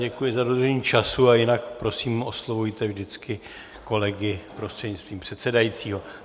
Děkuji za dodržení času a jinak prosím, oslovujte vždycky kolegy prostřednictvím předsedajícího.